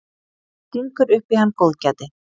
Stingur upp í hann góðgæti.